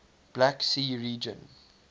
black sea region